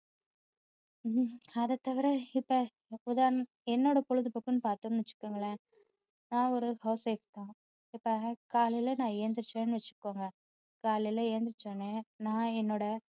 உம் உம் அதை தவிர இப்போ உதாரண~ என்னோட பொழுதுபோக்குன்னு பார்தோம்ன்னு வச்சிக்கோங்களேன் நான் ஒரு housewife தான் இப்போ காலையில நான் எழுந்திரிச்சேன்னு வச்சிக்கோங்க காலையில எழுந்திருச்ச உடனே நான் என்னோட